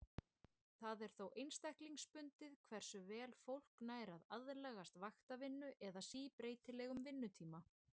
Það er þó einstaklingsbundið hversu vel fólk nær að aðlagast vaktavinnu eða síbreytilegum vinnutíma.